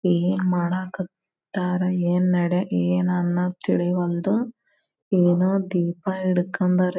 ಏನ್ ಮಾಡಕತ್ತರ್ ಏನ್ ನಡೆ ಏನ್ ಅನ್ನ ತಿಳಿವಲ್ದು ಏನ್ ದೀಪ ಹಿಡಕೊಂಡರೆ.